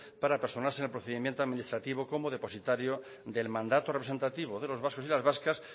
para personarse en el procedimiento administrativo como depositario del mandato representativo de los vascos y las vascas